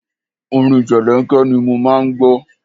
Orin jẹlẹ́ńkẹ́ ni mo máa ń gbọ́.